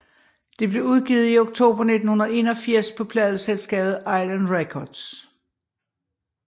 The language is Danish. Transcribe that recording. Det blev udgivet i oktober 1981 på pladeselskabet Island Records